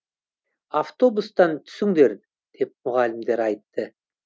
автобустан түсіңдер деп мұғалімдер айтты